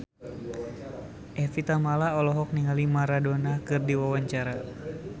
Evie Tamala olohok ningali Maradona keur diwawancara